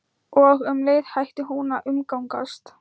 Og um leið hætti hún að umgangast